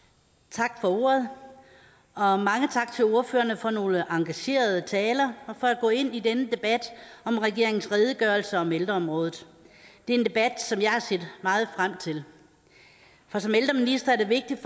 tak for ordet og og mange tak til ordførerne for nogle engagerede taler og for at gå ind i denne debat om regeringens redegørelse om ældreområdet det er en debat som jeg har set meget frem til for som ældreminister er det vigtigt